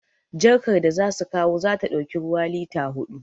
Jarkar da za su kawo za ta ɗauki ruwa lita huɗu